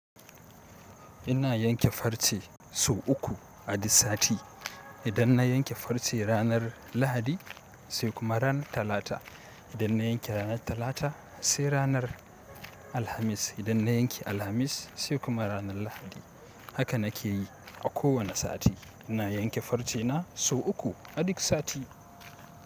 Ina yanke farce sau uku a duk sati. Idan na yanke farce ranar Lahadi, sai kuma ranar Talata. Idan na yanke ranar Talata sai ranar Alhamis. Idan na yanke Alhamis sai kuma ranar Lahadi. Haka na ke yi a kowane sati. Ina yanke farce na, sau uku a duk sati.